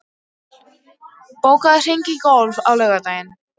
Mjöll, bókaðu hring í golf á laugardaginn.